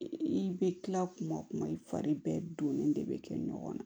I bɛ kila kuma kuma i fari bɛɛ donnen de bɛ kɛ ɲɔgɔn na